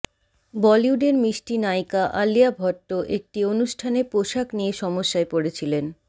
বলিউডের মিষ্টি নায়িকা আলিয়া ভট্ট একটি অনুষ্ঠানে পোশাক নিয়ে সমস্যায় পড়েছিলেন